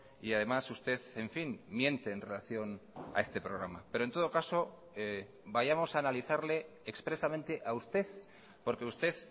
y además usted en fin miente en relación a este programa pero en todo caso vayamos a analizarle expresamente a usted porque usted